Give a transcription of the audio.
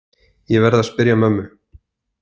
Ég verð að spyrja mömmu.